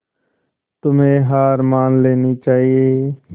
तुम्हें हार मान लेनी चाहियें